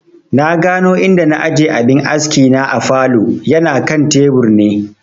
Na gano inda na aje abin askina a falow, yana kan tebur ne